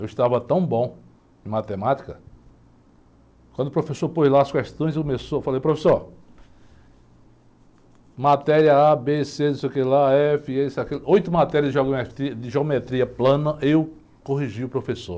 Eu estava tão bom em matemática, quando o professor pôs lá as questões, eu falei, professor, matéria A, B, C, não sei que lá, F, isso aqui lá, oito matérias de geometr geometria plana, eu corrigi o professor.